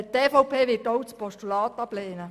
Die EVP wird auch das Postulat ablehnen.